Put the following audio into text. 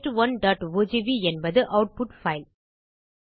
test1ஓஜிவி என்பது output file